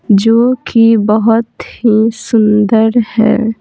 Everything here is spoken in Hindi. जो कि बहुत ही सुंदर है।